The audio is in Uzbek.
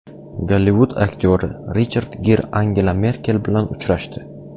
Gollivud aktyori Richard Gir Angela Merkel bilan uchrashdi.